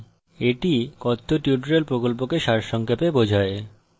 এটি কথ্য tutorial প্রকল্পকে সারসংক্ষেপে বোঝায়